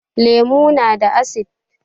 Lemu na da asid